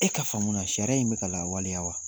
E ka faamuyali la sariya in bɛka ka lawaleya wa?